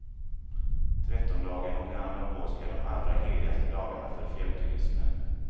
Trettondagen och annandag påsk är de allra heligaste dagarna för fjällturismen.